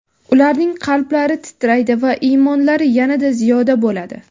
ularning qalblari titraydi va iymonlari yanada ziyoda bo‘ladi.